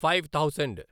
five thousand